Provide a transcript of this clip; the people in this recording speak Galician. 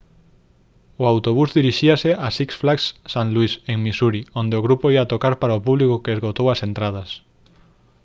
o autobús dirixíase a six flags st louis en missouri onde o grupo ía tocar para un público que esgotou as entradas